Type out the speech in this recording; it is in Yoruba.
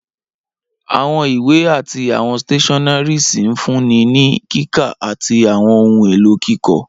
Awọn iwe ati awọn stationeries nfunni ni kika ati awọn ohun elo kikọ.